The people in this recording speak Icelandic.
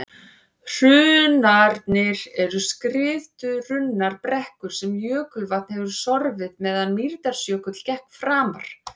hrunarnir eru skriðurunnar brekkur sem jökulvatn hefur sorfið meðan mýrdalsjökull gekk framar